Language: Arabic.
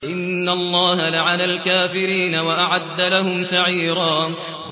إِنَّ اللَّهَ لَعَنَ الْكَافِرِينَ وَأَعَدَّ لَهُمْ سَعِيرًا